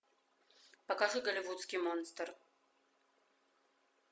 покажи голливудский монстр